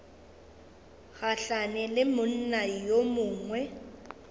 gahlane le monna yo mongwe